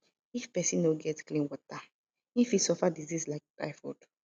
if pesin no get clean water e fit suffer disease like typhoid